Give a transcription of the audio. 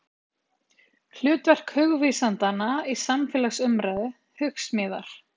Hlutverk hugvísindamanna í samfélagsumræðu, Hugsmíðar.